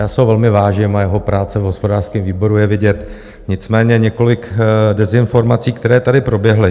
Já si ho velmi vážím a jeho práce v hospodářském výboru je vidět, nicméně několik dezinformací, které tady proběhly.